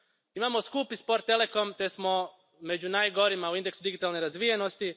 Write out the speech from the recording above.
Imamo skup i spor telekom te smo među najgorima u indeksu digitalne razvijenosti.